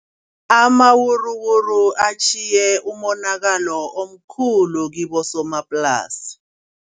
Amawuruwuru atjhiye umonakalo omkhulu kibosomaplasi.